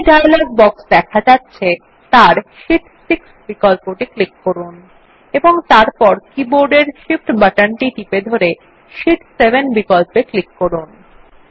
যে dialog box দেখা যাচ্ছে তার শীট 6 বিকল্পটি ক্লিক করুন এবং তারপর বোর্ডের উপরে অবস্থিত Shift বাটনটি চেপে ধরে শীট 7 বিকল্পে এ ক্লিক করুন